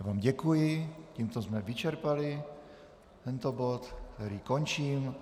Já vám děkuji, tímto jsme vyčerpali tento bod, který končím.